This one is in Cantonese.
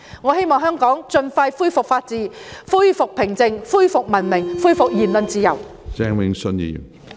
我希望香港盡快恢復法治、恢復平靜、恢復文明、恢復言論自由。